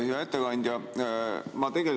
Hea ettekandja!